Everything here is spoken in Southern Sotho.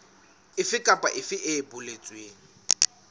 efe kapa efe e boletsweng